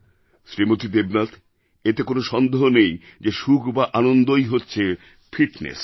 শ্রীমতী দেবনাথ এতে কোনও সন্দেহ নেই যে সুখ বা আনন্দই হচ্ছে ফিটনেস